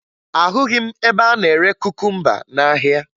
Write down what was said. Ahụghị m ebe a na-ere kukumba n'ahịa